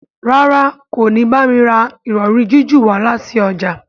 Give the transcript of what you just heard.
ràrá kò ní bámi rà Ìrọ̀rí jiju wá láti ọjà.